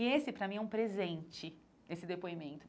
E esse, para mim, é um presente, esse depoimento.